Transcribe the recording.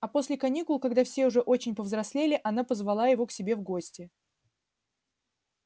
а после каникул когда все уже очень повзрослели она позвала его к себе в гости